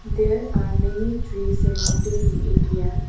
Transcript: there are many trees sorrounding the area.